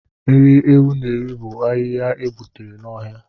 Nri ewu na-eri bụ ahịhịa e gbutere n'ọhịa